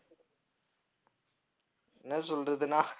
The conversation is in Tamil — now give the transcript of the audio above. என்ன சொல்றதுன்னா?